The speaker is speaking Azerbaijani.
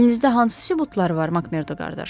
Əlinizdə hansı sübutlar var, Makmerdo qardaş?